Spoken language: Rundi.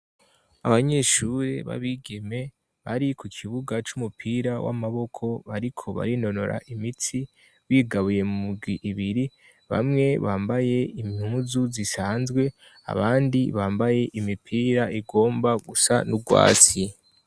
Abanyeshure b'abigeme bari ku ikibuga c'umupira w'amaboko bariko barinorora imitsi bigabuye muibiri bamwe bambaye impuzu zisanzwe abandi bambaye imipira igomba gusa n'urwasi.